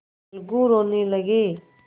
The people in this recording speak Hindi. अलगू रोने लगे